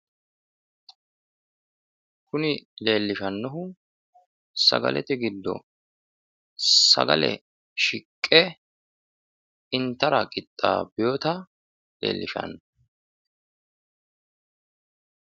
Kuni leellishannohu, sagalete giddo sagale shiqqe intara qixxaabbinota leellishanno.